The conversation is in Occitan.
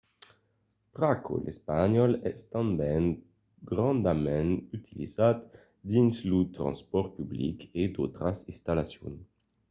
pr’aquò l’espanhòl es tanben grandament utilizat dins lo transpòrt public e d’autras installacions